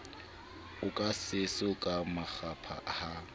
oka seso ka makgapha ha